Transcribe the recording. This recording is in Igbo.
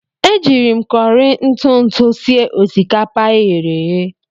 Eji m kọrị ntụ ntụ sie osikapa e ghere eghe.